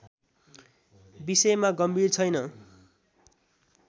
विषयमा गम्भीर छैन